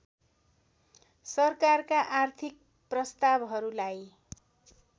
सरकारका आर्थिक प्रस्तावहरूलाई